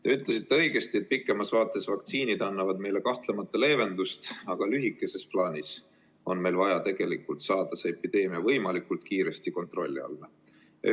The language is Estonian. Te ütlesite õigesti, et pikemas vaates vaktsiinid annavad meile leevendust, aga lühemas plaanis on meil vaja see epideemia võimalikult kiiresti kontrolli alla saada.